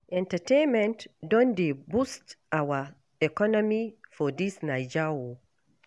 Entertainment don dey boost our economy for dis Naija o.